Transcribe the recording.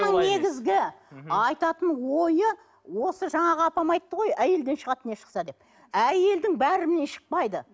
негізгі айтатын ойы осы жаңағы апам айтты ғой әйелден шығады не шықса деп әйелдің бәрінен шықпайды